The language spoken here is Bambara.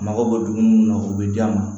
A mago bɛ dumuni mun na o bɛ d'a ma